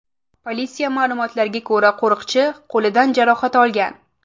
Politsiya ma’lumotlariga ko‘ra, qo‘riqchi qo‘lidan jarohat olgan.